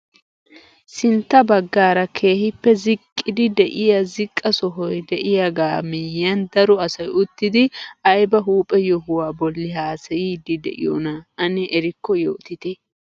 Sintta baggaara keehippe ziqqidi de'iyaa ziqqa sohoy de'iayaaga miyiyaan daro asay uttidi ayba huuhphe yohuwaa bolli haasayiidi de'iyoona ane erikko yootite?